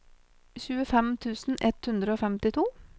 tjuefem tusen ett hundre og femtito